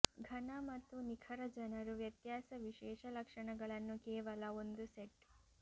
ಘನ ಮತ್ತು ನಿಖರ ಜನರು ವ್ಯತ್ಯಾಸ ವಿಶೇಷ ಲಕ್ಷಣಗಳನ್ನು ಕೇವಲ ಒಂದು ಸೆಟ್